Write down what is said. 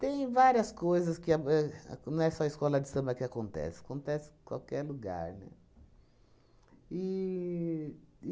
Tem várias coisas que a e, não é só escola de samba que acontece, acontece qualquer lugar, né? E